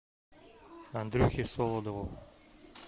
андрюхе солодову